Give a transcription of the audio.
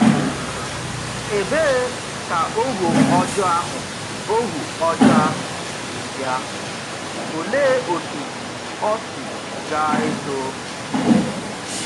Ebee ka ohu ọjọọ ahụ ohu ọjọọ ahụ si bịa, òlee otú ọ si gà-eto?